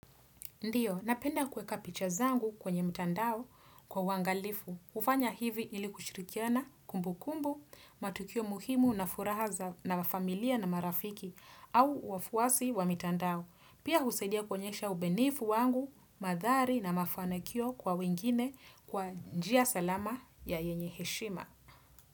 Ndiyo, napenda kueka picha zangu kwenye mtandao kwa uangalifu. Hufanya hivi ili kushirikiana kumbukumbu, matukio muhimu na furaha za na familia na marafiki au wafuasi wa mitandao. Pia husaidia kuonyesha ubenifu wangu, madhari na mafanakio kwa wengine kwa njia salama ya yenye heshima.